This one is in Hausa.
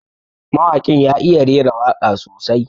Mawaƙin ya iya rera waka sosai.